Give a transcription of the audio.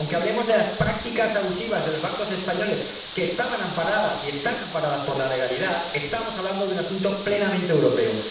Aunque hablemos de las prácticas abusivas de los bancos españoles, que estaban amparadas —y están amparadas— por la legalidad, estamos hablando de un asunto plenamente europeo.